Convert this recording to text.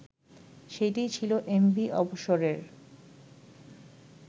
সেটিই ছিল এমভি অবসরের